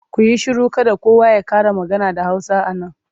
Ku yi shiru! Kada kowa ya ƙara magana da Hausa a nan.